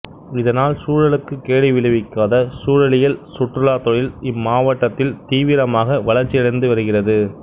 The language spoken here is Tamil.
இதனால் சூழலுக்குக் கேடு விளைவிக்காத சூழலியல் சுற்றுலாத் தொழில் இம்மாவட்டத்தில் தீவிரமாக வளர்ச்சியடைந்து வருகிறது